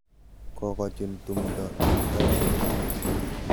Kokochun tumdo eng mbaret.